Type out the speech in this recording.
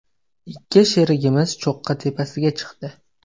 Ikki sherigimiz cho‘qqi tepasiga chiqdi.